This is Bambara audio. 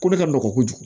Ko ne ka nɔgɔn kojugu